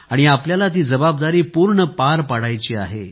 आणि आपल्याला ती जबाबदारी पूर्ण पार पडायची आहे